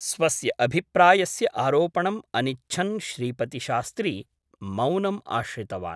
स्वस्य अभिप्रायस्य आरोपणम् अनिच्छन् श्रीपतिशास्त्री मौनम् आश्रितवान् ।